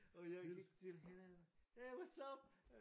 Og jeg gik til hende hey whats up!